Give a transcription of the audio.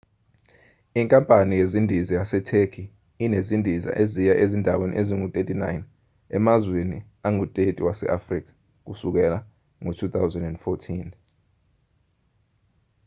inkampani yezindiza yasetheki inezindiza eziya ezindaweni ezingu-39 emazweni angu-30 wase-afrika kusukela ngo-2014